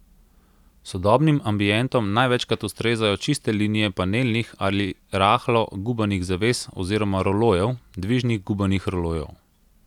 Sodobnim ambientom največkrat ustrezajo čiste linije panelnih ali rahlo gubanih zaves oziroma rolojev, dvižnih gubanih rolojev.